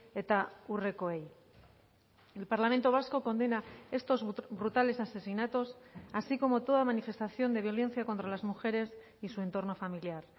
eta urrekoei el parlamento vasco condena estos brutales asesinatos así como toda manifestación de violencia contra las mujeres y su entorno familiar